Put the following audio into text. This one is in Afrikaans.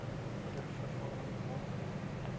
ter vervanging aangekoop